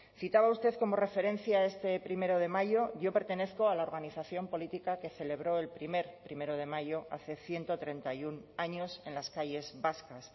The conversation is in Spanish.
citaba usted como referencia este primero de mayo yo pertenezco a la organización política que celebró el primer primero de mayo hace ciento treinta y uno años en las calles vascas